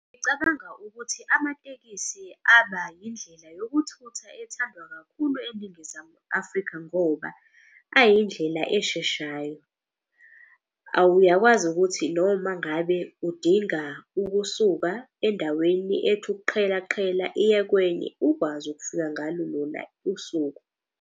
Ngicabanga ukuthi amatekisi aba yindlela yokuthutha ethandwa kakhulu eNingizimu Afrika ngoba ayindlela esheshayo. Uyakwazi ukuthi noma ngabe udinga ukusuka endaweni ethi ukuqhela qhela iye kwenye, ukwazi ukufika ngalo lona usuku.